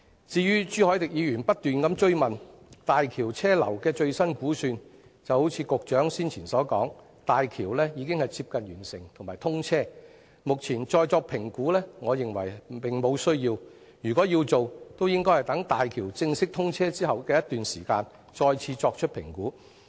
至於朱凱廸議員不斷追問大橋車流量的最新估算，正如局長之前所說，大橋已經接近完成，快將通車，我認為目前再作評估並無需要，如果要做，也應該待大橋正式通車一段時間後再作評估。